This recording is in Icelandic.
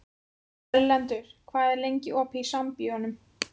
Erlendur, hvað er lengi opið í Sambíóunum?